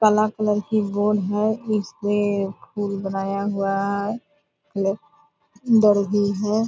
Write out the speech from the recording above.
काला कलर की बोर्ड है इसमें फूल बनाया हुआ है हेलो अंदर भी हैं ।